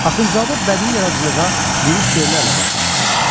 Axundzadə bədii yaradıcılığa lirik şeirlərlə başlamış.